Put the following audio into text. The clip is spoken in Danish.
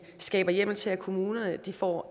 skaber hjemmel til at kommunerne får